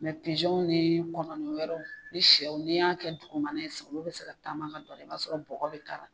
ni kɔnɔnin wɛrɛ ni siyɛw n'i y'a kɛ dugumana ye bɛ se ka taama ka don a la i b'a sɔrɔ bɔgɔ bɛ k'a la.